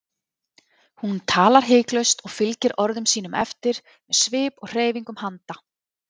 Hún talar hiklaust og fylgir orðum sínum eftir með svip og hreyfingum handa.